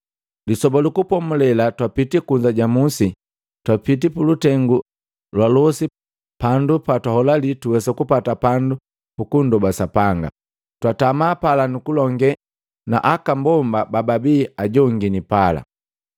Lisoba lu Kupomulela twapiti kunza ja musi, twapiti pulutengu lwa losi pandu patwaholali tuwesa kupata pandu pukundoba Sapanga. Twatama pala nukulonge na aka mbomba bababi ajongini pala.